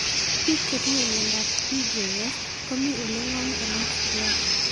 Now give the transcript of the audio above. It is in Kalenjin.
Piko che tinye miando ab PJS komii ole ng'om konam siriat